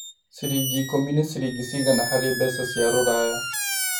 Ciringi ikũmi ni ciringi cĩgana harĩ mbeca cĩa rũraya